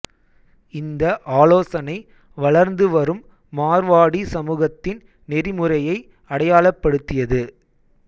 இந்த ஆலோசனை வளர்ந்து வரும் மார்வாடி சமூகத்தின் நெறிமுறையை அடையாளப்படுத்தியது